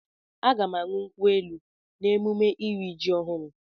Aga m aṅụ nkwu elu n'emume iri ji ọhụrụ.